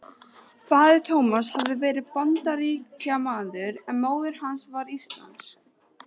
Faðir Tómasar hafði verið Bandaríkjamaður en móðir hans var íslensk.